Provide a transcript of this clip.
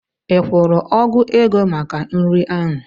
Ị kwụrụ ọgụ ego maka nri ahụ?